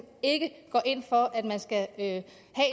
ikke går ind for at man skal have